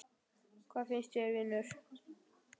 Hvað finnst þér, vinur?